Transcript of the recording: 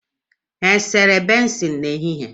Ha e sere bensin n'ehihie?